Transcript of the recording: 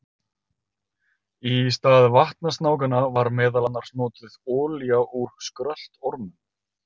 Í stað vatnasnákanna var meðal annars notuð olía úr skröltormum.